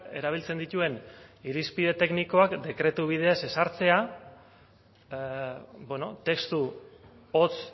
erabiltzen dituen irizpide teknikoak dekretu bidez ezartzea testu hotz